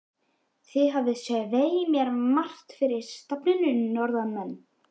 Þið hafið svei mér margt fyrir stafni, norðanmenn.